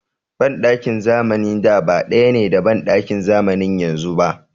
Banɗakin zamanin da ba ɗaya ne da banɗakin zamanin yanzu ba.